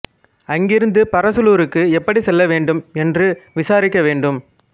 அங்கிருந்து பரசலூருக்கு எப்படிச் செல்ல வேண்டும் என்று விசாரிக்க வேண்டும்